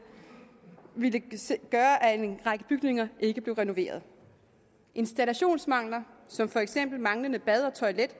gøre at en række bygninger ikke blev renoveret installationsmangler som for eksempel manglende bad og toilet